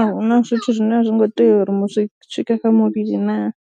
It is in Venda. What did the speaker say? a hu na zwithu zwine a zwi ngo tea uri zwi swike kha muvhili naa.